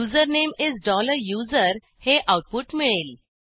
username is USERहे output मिळेल